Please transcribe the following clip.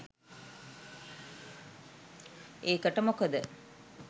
ඒකට මොකද